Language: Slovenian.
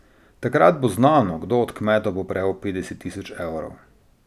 Takrat bo znano, kdo od kmetov bo prejel petdeset tisoč evrov.